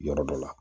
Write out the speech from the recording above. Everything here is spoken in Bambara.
Yɔrɔ dɔ la